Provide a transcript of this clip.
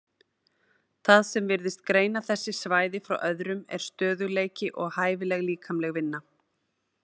Það sem virðist greina þessi svæði frá öðrum er stöðugleiki og hæfileg líkamleg vinna.